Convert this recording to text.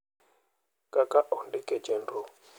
Kaka ondik e chenro.